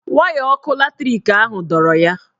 Waya ọkụ latrik ahụ dọrọ ya.